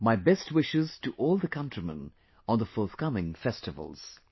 My best wishes to all the countrymen on the forthcoming festivals